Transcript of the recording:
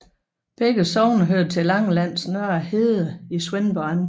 Begge sogne hørte til Langelands Nørre Herred i Svendborg Amt